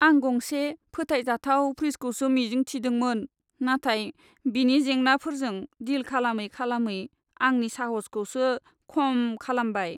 आं गंसे फोथायजाथाव फ्रिजखौसो मिजिं थिदोंमोन, नाथाय बेनि जेंनाफोरजों डिल खालामै खालामै आंनि साहसखौसो खम खालामबाय।